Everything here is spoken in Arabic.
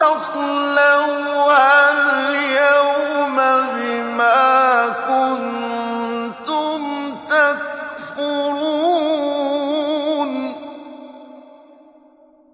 اصْلَوْهَا الْيَوْمَ بِمَا كُنتُمْ تَكْفُرُونَ